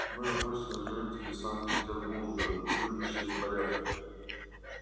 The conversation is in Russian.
мы обычные жители санкт-петербурга любящие порядок